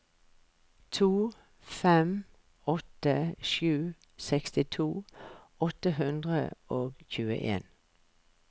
to fem åtte sju sekstito åtte hundre og tjueen